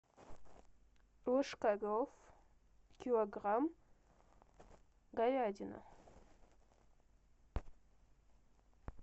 ложкарев килограмм говядина